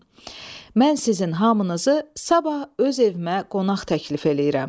Mən sizin hamınızı sabah öz evimə qonaq təklif eləyirəm.